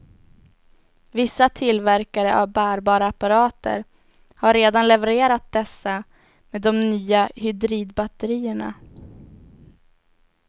Vissa tillverkare av bärbara apparater har redan levererat dessa med de nya hydridbatterierna.